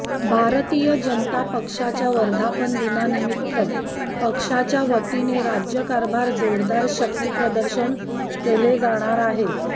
भारतीय जनता पक्षाच्या वर्धापनदिनानिमित्त पक्षाच्या वतीने राज्यभर जोरदार शक्तीप्रदर्शन केले जाणार आहे